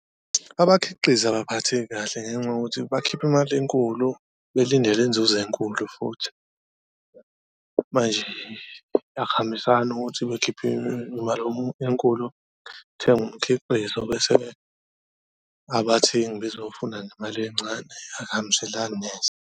Abakhiqizi abaphatheki kahle ngenxa yokuthi bakhipha imali enkulu belindele inzuzo enkulu futhi manje akuhambisani ukuthi bekhiphe imali enkulu kuthengwe umkhiqizo, bese-ke abathengi bezowufuna ngemali encane akuhambiselani neze.